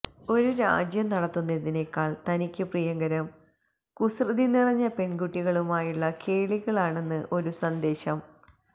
ഒരു രാജ്യം നടത്തുന്നതിനേക്കാള് തനിക്ക് പ്രിയങ്കരം കുസൃതി നിറഞ്ഞ പെണ്കുട്ടികളുമായുള്ള കേളികളാണെന്നാണ് ഒരു സന്ദേശം